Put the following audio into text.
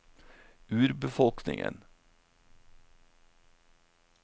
urbefolkningen